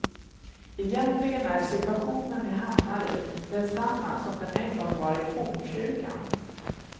Egentligen är situationen jag hamnar i densamma som den en gång var i fornkyrkan.